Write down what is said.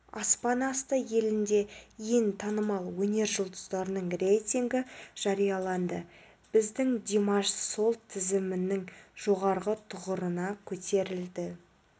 аспан асты елінде ең танымал өнер жұлдыздарының рейтінгі жарияланды біздің димаш сол тізімінің жоғарғы тұғырына көтерілді